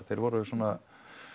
þeir voru svona